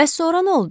Bəs sonra nə oldu?